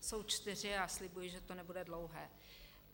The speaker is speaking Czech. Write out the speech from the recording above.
Jsou čtyři a slibuji, že to nebude dlouhé.